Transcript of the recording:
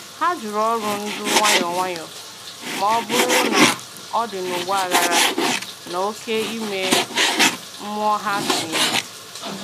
Hà jụrụ ọrụ ndu nwayọ nwayọ ma ọ bụrụ na ọ̀ dị n’ụgbọ aghara na oke ime mmụọ ha tìnyere.